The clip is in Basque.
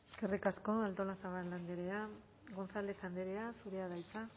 eskerrik asko artolazabal andrea gonzález andrea zurea da hitza